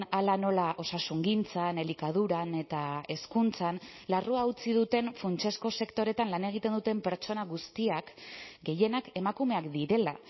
hala nola osasungintzan elikaduran eta hezkuntzan larrua utzi duten funtsezko sektoreetan lan egiten duten pertsona guztiak gehienak emakumeak direla